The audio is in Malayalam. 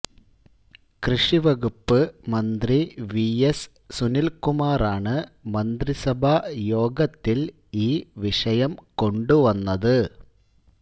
കൃഷി വകുപ്പ് മന്ത്രി വി എസ് സുനില്കുമാറാണ് മന്ത്രിസഭാ യോഗത്തില് ഈ വിഷയം കൊണ്ടുവന്നത്